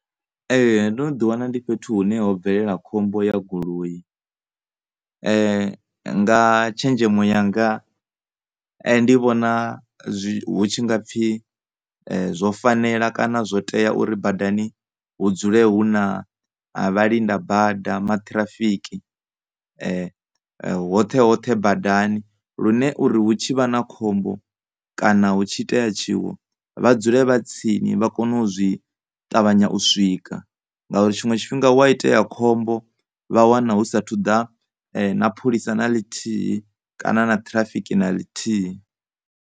Ndo no ḓi wana ndi fhethu hune ho bvelela khombo ya goloi. Nga tshenzhemo yanga ndi vhona hu tshi nga pfhi zwo fanela kana zwo tea uri badani hu dzule hu na vhalinda bada maṱhirafiki hoṱhehoṱhe badani lune uri hu tshi vha na khombo kana hu tshi itea tshiwo vha dzule vha tsini vha kone u zwi, u ṱavhanya u swika, ngauri tshiṅwe tshifhinga hu a itea khombo vha wana hu sathu swika na pholisa na ḽithihi kana na ṱhirafiki na ḽithihi.